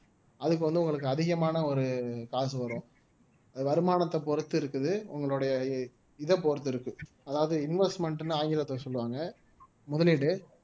அதுக்கு வந்து உங்களுக்கு அதிகமான ஒரு காசு வரும் வருமானத்தை பொறுத்து இருக்குது உங்களுடைய இதை பொறுத்து இருக்கு அதாவது investment ன்னு ஆங்கிலத்துல சொல்லுவாங்க முதலீடு